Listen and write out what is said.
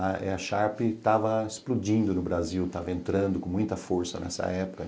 A Sharp estava explodindo no Brasil, estava entrando com muita força nessa época.